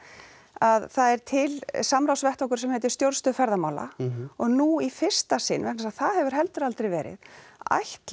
að það er til samráðsvettvangur sem heitir Stjórnstöð ferðamála og nú í fyrsta sinn vegna þess að það hefur heldur aldrei verið ætla